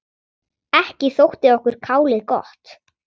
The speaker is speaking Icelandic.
Ekki þótti okkur kálið gott.